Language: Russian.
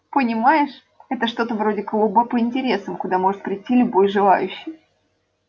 понимаешь это что-то вроде клуба по интересам куда может прийти любой желающий